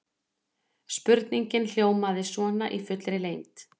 Spurningin hljómaði svona í fullri lengd: